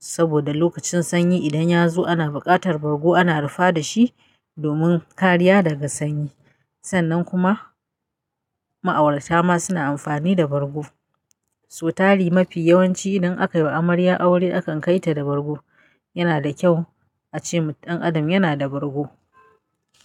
Saboda lokacin sanyi idan ya zo ana buƙatar bargo ana rufa dashi domin kariya daga sanyi. Sannan kuma ma'aurata ma suna amfani da bargo. Sau tari mafi yawanci idan akai wa amarya aure akan kai ta da bargo. Yana da kyau ace ɗan adam yana da bargo.